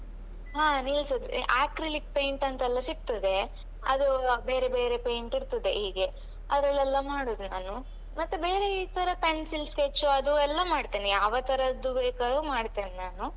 ಅದು ನಿಲ್ತದೆ acrylic painting ಅಂತೆಲ್ಲ ಸಿಕ್ತದೆ ಅದು ಬೇರೆ ಬೇರೆ painting ಇರ್ತದೆ ಹೀಗೆ ಅದರಲ್ಲೆಲ್ಲ ಮಾಡುದು ನಾನು ಮತ್ತೆ ಬೇರೆ ಈ ತರ pencil sketch ಅದು ಎಲ್ಲ ಮಾಡ್ತೇನೆ ಯಾವತರದ್ದು ಬೇಕಾದ್ರೂ ಮಾಡ್ತೇನ್ ನಾನು.